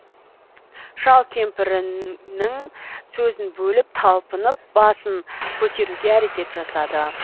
шал кемпірінің сөзін бөліп талпынып басын көтеруге әрекет жасады